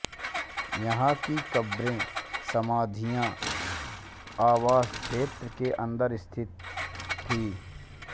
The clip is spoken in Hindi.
यहाँ की क़ब्रें समाधियाँ आवास क्षेत्र के अन्दर स्थित थीं